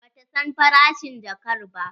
Ba ta san farashin jakkar ba.